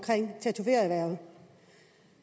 tatovørerhvervet